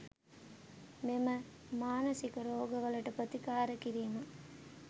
මෙම මානසික රෝග වලට ප්‍රතිකාර කිරීම